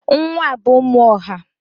Nwa bụ ụmụ ọha.